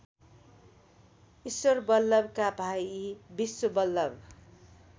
ईश्वरबल्लभका भाइ विश्वबल्लभ